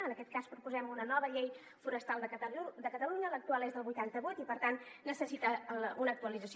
en aquest cas proposem una nova llei forestal de catalunya l’actual és del vuitanta vuit i per tant necessita una actualització